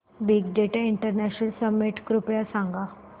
big data international summit कृपया सांगा